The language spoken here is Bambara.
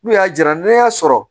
N'u y'a jira n'i y'a sɔrɔ